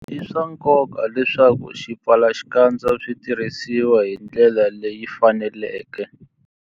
I swa nkoka leswaku swipfalaxikandza swi tirhisiwa hi ndlela leyi faneleke.